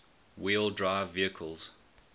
wheel drive vehicles